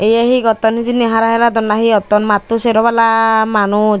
eye hi gotton hijeni hara hilodon na hi otton matto sero pala manus.